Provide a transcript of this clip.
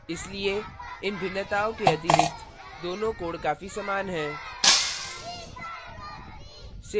इसलिए इन भिन्नताओं के अतिरिक्त दोनों codes काफी समान हैं